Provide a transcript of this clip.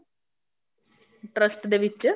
trust ਦੇ ਵਿੱਚ